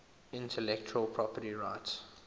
intellectual property rights